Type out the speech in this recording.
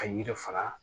Ka yiri fara